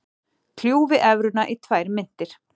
Kljúfi evruna í tvær myntir